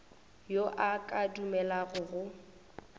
yo a ka dumelago go